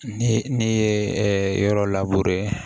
Ne ne ye yɔrɔ lab